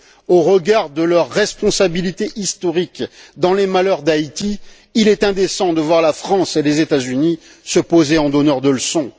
Au regard de leur responsabilité historique dans les malheurs d'Haïti, il est indécent de voir la France et les États Unis se poser en donneurs de leçons.